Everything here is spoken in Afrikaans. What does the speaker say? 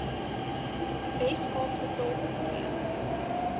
wes kaapse taalkomitee